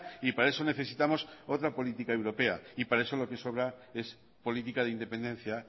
y para eso necesitamos otra política europea y para eso lo que sobra es política de independencia